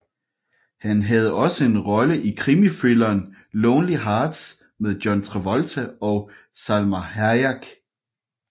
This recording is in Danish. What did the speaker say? Han havde også en rolle i krimithrilleren Lonely Hearts med John Travolta og Salma Hayek